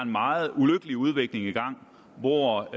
meget ulykkelig udvikling i gang hvor